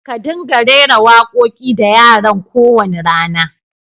Ƙa dinga rera wa ƙoki da yaran ƙo wani rana!